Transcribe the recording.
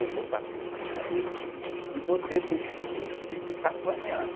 Eu vou bater na parede e você tem que fingir que está apanhando.